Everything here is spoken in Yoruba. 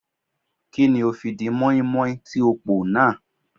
Kí ni o fi di mọ́ínmọ́ín tí ó pò náà.